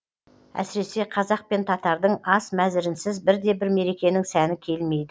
әсіресе қазақ пен татардың ас мәзірінсіз бір де бір мерекенің сәні келмейді